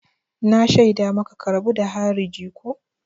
Na shaida maka ka rabu da harija ko!